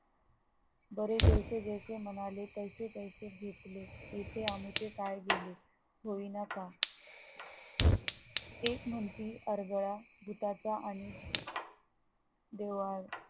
बरे जैसे जैसे म्हणाले तैसे तैसे गीतले येथे आमचे काय गेले होईना का केस म्हणती अरगळा भुताचा आणि देवाचा